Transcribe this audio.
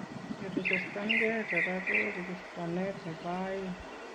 Kerechestankee koraa ko rechestanet nebo aeng